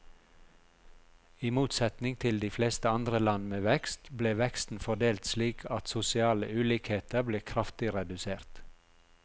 I motsetning til de fleste andre land med vekst, ble veksten fordelt slik at sosiale ulikheter ble kraftig redusert.